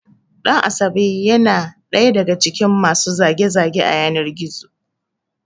Ɗan asabe ya na ɗaya daga cikin masu zage- zage a yanar Gizo